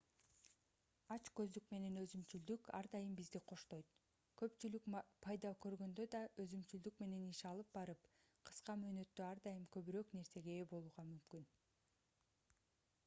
ач көздүк менен өзүмчүлдүк ар дайым бизди коштойт көпчүлүк пайда көргөндө да өзүмчүлдүк менен иш алып барып кыска мөөнөттө ар дайым көбүрөөк нерсеге ээ болууга мүмкүн